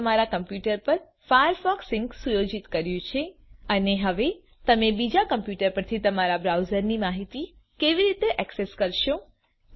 તમે તમારા કમ્પ્યુટર પર ફાયરફોકસ સિંક સુયોજિત કર્યું છે અને હવે તમે બીજા કમ્પ્યુટર પરથી તમારા બ્રાઉઝરની માહિતી કેવી રીતે ઍક્સેસ કરશો